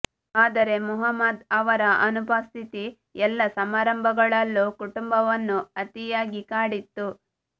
ಆದರೆ ಮುಹಮ್ಮದ್ ಅವರ ಅನುಪಸ್ಥಿತಿ ಎಲ್ಲಾ ಸಮಾರಂಭಗಳಲ್ಲೂ ಕುಟುಂಬವನ್ನು ಅತಿಯಾಗಿ ಕಾಡಿತ್ತು